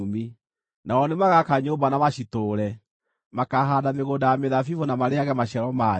Nao nĩmagaka nyũmba na macitũũre; makaahaanda mĩgũnda ya mĩthabibũ na marĩĩage maciaro mayo.